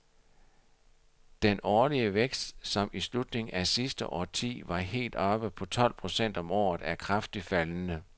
Den årlige vækst, som i slutningen af sidste årti var helt oppe på tolv procent om året, er kraftigt faldende.